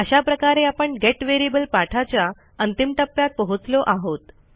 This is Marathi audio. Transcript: अशा प्रकारे आपण गेट व्हेरिएबल पाठाच्या अंतिम टप्प्यात पोहोचलो आहोत